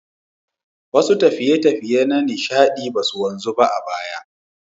Wasu tafiye-tafiye na nishaɗi ba su wanzu ba a baya.